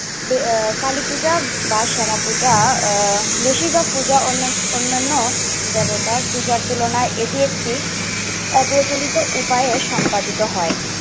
তো আহ কালীপূজা বা শ্যামাপূজা আহ বেশিভাগ পূজা অন্য~ অন্যান্য জনতার পূজার তুলনায় এগিয়ে থাকি, অগ্রজনিত উপায়ে সম্পাদিত হয়।